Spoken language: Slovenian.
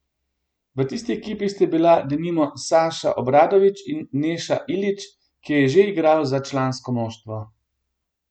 V tisti ekipi sta bila denimo Saša Obradović in Neša Ilić, ki je že igral za člansko moštvo.